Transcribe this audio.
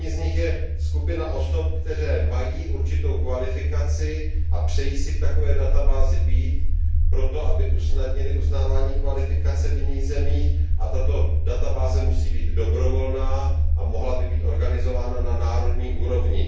První z nich je databáze osob, které mají určitou kvalifikaci a přejí si v takové databázi být proto, aby usnadnili uznávání kvalifikace v jiných zemích, a tato databáze musí být dobrovolná a mohla by být organizována na národní úrovni.